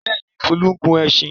Bẹ́ẹ̀ ni, Folú gun ẹṣin.